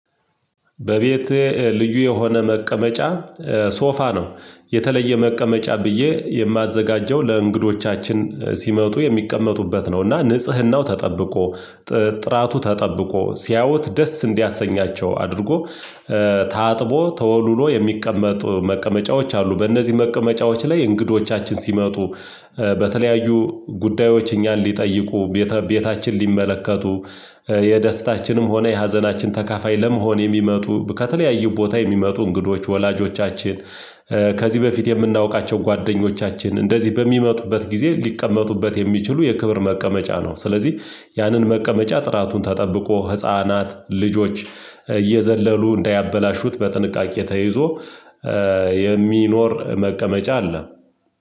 በቤቴ ልዩ የሆነ መቀመጫ ሶፋ ነው። የተለየ መቀመጫ ብዬ የማዘጋጀው ለእንግዶቻችን ሲመጡ የሚቀመጡበት ነው እና ንጽህናው ተጠብቆ ጥራቱ ተጠብቆ ሲያወት ደስ እንዲያሰኛቸው አድርጎ ታጥቦ ተወልውሎ የሚቀመጡ መቀመጫዎች አሉ። በእነዚህ መቀመጫዎች ላይ እንግዶቻችን ሲመጡ በተለያዩ ጉዳዮች እኛን ሊጠይቁ ቤታችን ሊመለከቱ የደስታችንም ሆነ የሀዘናችን ተካፋይ ለመሆን የሚመጡ ከተለያዩ ቦታ የሚመጡ እንግዶች ወላጆቻችን ከዚህ በፊት የምናውቃቸው ጓደኞቻችን እንደዚህ በሚመጡበት ጊዜ ሊቀመጡበት የሚችሉ የክብር መቀመጫ ነው። ስለዚህ ያንን መቀመጫ ጥራቱን ተጠብቆ ህፃናት ልጆች እየዘለሉ እንዳያበላሹት በጥንቃቄ ተይዞ የሚኖር መቀመጫ አለ።